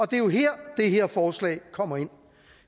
det er jo her det her forslag kommer ind